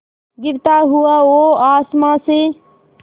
गिरता हुआ वो आसमां से